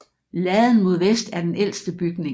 Laden mod vest er den ældste bygning